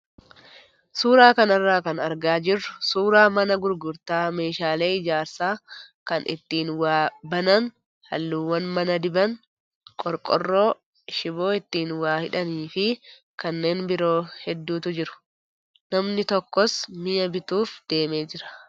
Suuraa kanarraa kan argaa jirru suuraa mana gurgurtaa meeshaalee ijaarsaa kan ittiin waa banan, halluuwwan mana diban, qorqoorroo, shiboo ittiin waa hidhanii fi kanneen biroo hedduutu jiru. Namni tokkos mi'a bituuf deemee jira.